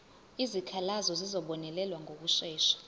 izikhalazo zizobonelelwa ngokushesha